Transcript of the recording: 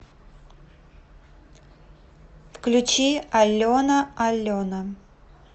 включи алена алена